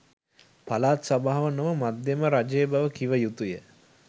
පළාත් සභාව නොව මධ්‍යම රජය බව කිව යුතුය.